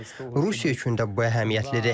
Rusiya üçün də bu əhəmiyyətlidir.